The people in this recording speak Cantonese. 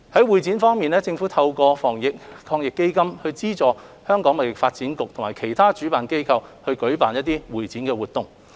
會展業方面，政府透過防疫抗疫基金資助香港貿易發展局及其他主辦機構舉辦的會展活動。